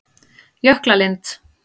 Jöklalind